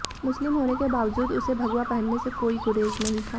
मुस्लिम होने के बावजूद उसे भगवा पहनने से कोई गुरेज नहीं था